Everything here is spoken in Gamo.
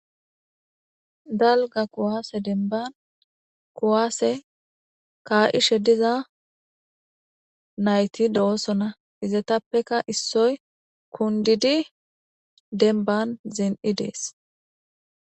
Galga kuwaase denban kuwaase kaa'ishe diza nayti do'osona izetappeka issoy kundidi denban zen'i dees.